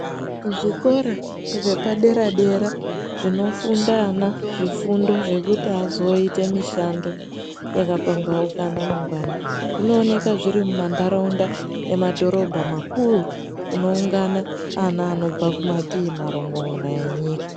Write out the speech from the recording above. Zvikora zvepadera-dera zvinofunda ana zvifundo zvekuti azoite mishando yakapambaukana mangwani. Zvinooneka zviri mumantaraunda emadhorobha makuru kunoungana ana anobva kumatii marongomuna enyika.